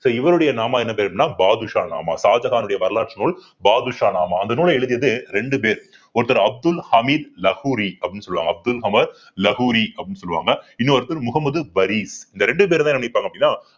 so இவருடைய நாமா என்ன பேரு அப்படின்னா பாதுஷா நாமா ஷாஜகானுடைய வரலாற்று நூல் பாதுஷா நாமா அந்த நூலை எழுதியது ரெண்டு பேர் ஒருத்தர் அப்துல் ஹமீது லகோரி அப்படின்னு சொல்லுவாங்க அப்துல் ஹமீது லகோரி அப்படின்னு சொல்லுவாங்க இன்னொருத்தர் முகமது வரிஸ் இந்த ரெண்டு என்ன பண்ணிருப்பாங்க அப்பிடின்னா